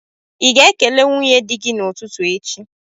Ị ga-ekele nwunye di gị n'ụtụtụ echi?